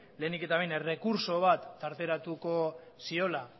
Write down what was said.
lehenik eta behin errekurtso bat tarteratuko ziola